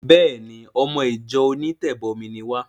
Béèni! Ọmọ ìjọ onítẹ̀bọmi ni wá.